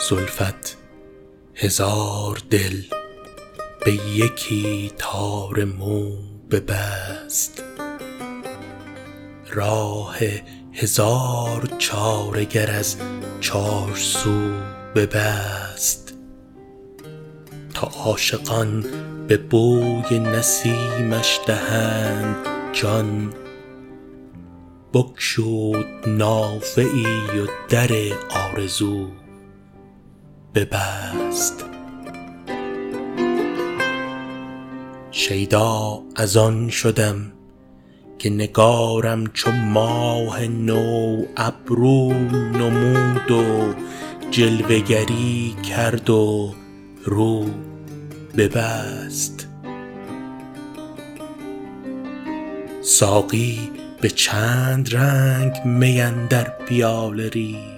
زلفت هزار دل به یکی تار مو ببست راه هزار چاره گر از چارسو ببست تا عاشقان به بوی نسیمش دهند جان بگشود نافه ای و در آرزو ببست شیدا از آن شدم که نگارم چو ماه نو ابرو نمود و جلوه گری کرد و رو ببست ساقی به چند رنگ می اندر پیاله ریخت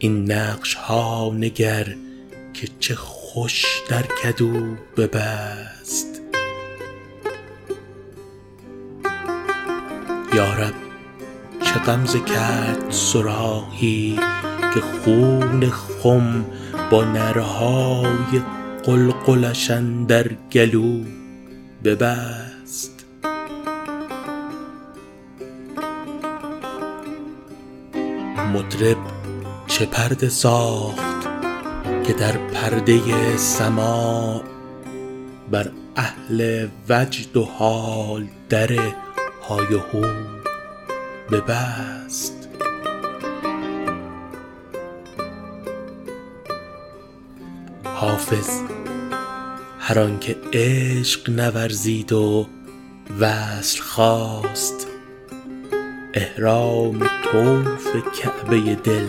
این نقش ها نگر که چه خوش در کدو ببست یا رب چه غمزه کرد صراحی که خون خم با نعره های قلقلش اندر گلو ببست مطرب چه پرده ساخت که در پرده سماع بر اهل وجد و حال در های وهو ببست حافظ هر آن که عشق نورزید و وصل خواست احرام طوف کعبه دل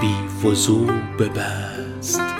بی وضو ببست